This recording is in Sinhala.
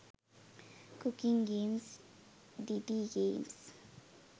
cooking games didi games